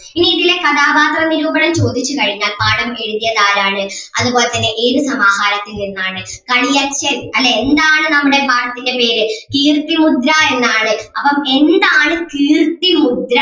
ഇനി ഇതിലെ കഥാപാത്ര നിരൂപണം ചോദിച്ചു കഴിഞ്ഞാൽ പാഠം എഴുതിയത് ആരാണ് അതുപോലെ തന്നെ ഏത് സമാഹാരത്തിൽ നിന്നാണ് കളിയച്ഛൻ അല്ലെ എന്താണ് നമ്മുടെ പാഠത്തിൻ്റെ പേര് കീർത്തിമുദ്ര എന്നാണ് അപ്പം എന്താണ് കീർത്തിമുദ്ര.